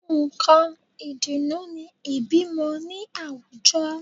Nǹkan ìdùnnú ni ìbímọ ní àwùjọ